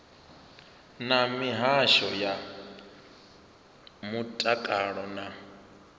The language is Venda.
na mihasho ya mutakalo na